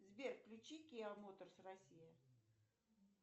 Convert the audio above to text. сбер включи киа моторс россия